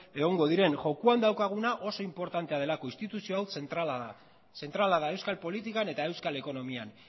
egongo diren jokoan daukaguna oso inportante delako instituzio hau zentrala da zentrala da euskal politikan eta euskal ekonomian